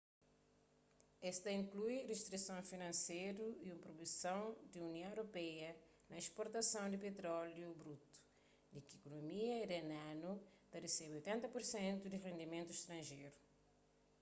es ta inklui ristrisons finanseru y un proibison pa union europeia na sportason di petróliu brutu di ki ikunomia iranianu ta resebe 80% di se rendimentu stranjeru